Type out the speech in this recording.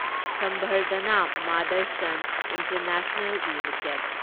Samvardhana Motherson International limited